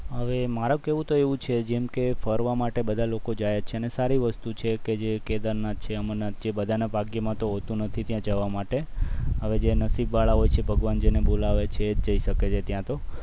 હવે મારું કેવું તો એમ છે કે જેમ બધા ફરવા લોકો જતા જ હોય છે અને સારી વસ્તુ છે કે જે કેદારનાથ અમરનાથ છે બધા ના ભાગ્યમાં તો હોતું નથી ત્યાં જવાનું માટે અને જેનું નસીબ વાળા હોય છે ભગવાન જેને બોલાવે છે જય શકે છે ત્યાં તો